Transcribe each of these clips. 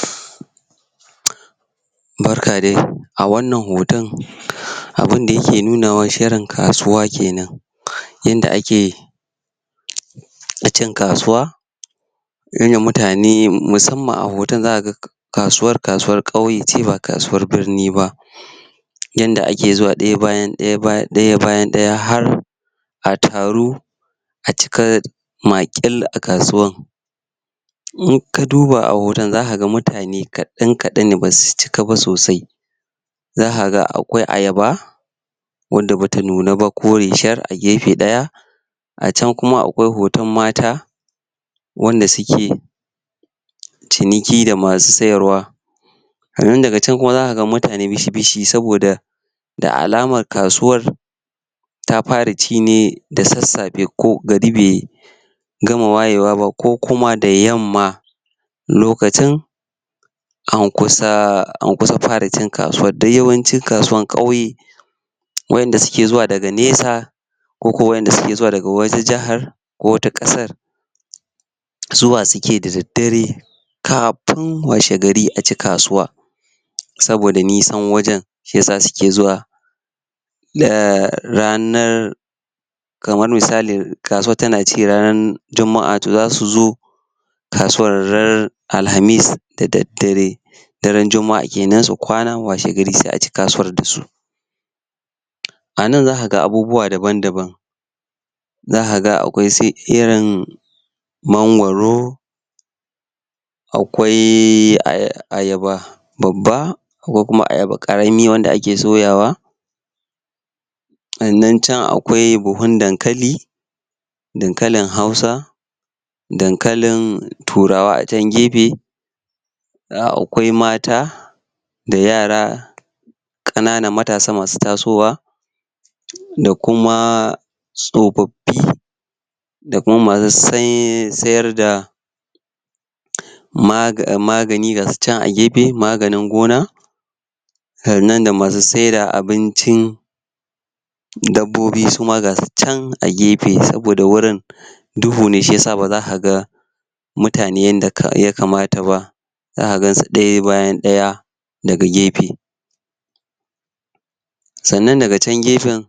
umm um barka de a wannan hoton umm abinda yake nunawa shirin kasuwa kenan um yanda ake um na cin kasuwa yanda mutane musamman a hoton zaka ga kasuwar kasuwar kauye ce ba kasuwar birni ba yanda ake zuwa ɗaya bayan ɗaya ba ɗaya bayan daya har a taru a cika maƙil a kasuwan in ka duba a hoton zakaga mutane kaɗan kaɗan ne basu cika ba sosai zakaga akwai ayaba wanda bata nuna ba kore shar a gefe ɗaya a can kuma akwai hoton mata wanda suke um ciniki da masu sayarwa sannan daga can kuma zakaga mutane bishi-bishi saboda da alamar kasuwar ta fara ci ne da sassafe ko gari be gama wayewa ba ko kuma da yamma lokacin an kusaa an kusa fara cin kasuwan don yawancin kasuwan kauye wa inda suke zuwa daga nesa ko ko wa inda ke zuwa daga wata jahar ko wata kasar um zuwa suke da daddare kafin washegari a ci kasuwar saboda nisan wajen shiyasa suke zuwa da ranar kamar misali kasuwar tana ci ranan juma'a to zasu zo kasuwar ran alhamis da daddare daren juma'a kenan su kwana washegari se aci kasuwa dasu um a nan zakaga abubuwa daban-daban zakaga akwai su irin mangwaro akwai aya.. ayaba babba ko kuma ayaba karami wanda ake soyawa sannan can akwai buhun dankali dankalin hausa dankalin turawa a can gefe ɗaya akwai mata da yara ƙana nan matasa masu tasowa um da kuma tsofaffi da kuma masu say sayarda um maga. magani gasu can a gefe maganin gona kannan da masu saida abincin dabbobi su ma gasu can a gefe saboda wurin duhu ne shiyasa baza kaga mutane yanda ka ya kamata ba zaka gansu ɗaya bayan ɗaya daga gefe sannan daga can gefen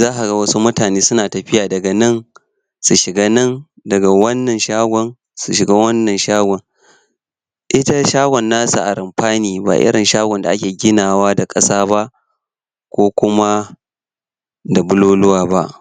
zakaga wasu mutane suna tafiya daga nan su shiga nan daga wannan shagon su shiga wannan shagon ita shagon nasa a runfa ne ba irin shagon da ake ginawa da ƙasa ba ko kuma da buloluwa ba um